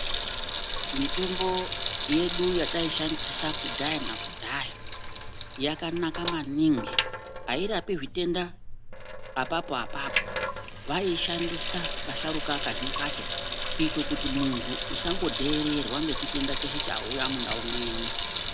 Mitombo yedu yataishandisa kubhaya nakudhaya yakanaka maningi hairapi zvitenda apapo-apapo, vaiishandisa asharuka kazhinji kacho. Kuite kuti muntu usangodhererwa nechitenda cheshe chauya mundau mwedu.